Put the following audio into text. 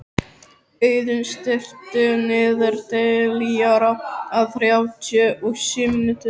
Auðunn, stilltu niðurteljara á þrjátíu og sjö mínútur.